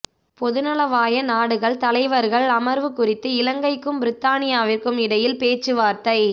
பொதுநலவாய நாடுகள் தலைவர்கள் அமர்வு குறித்து இலங்கைக்கும் பிரித்தானியாவிற்கும் இடையில் பேச்சுவார்த்தை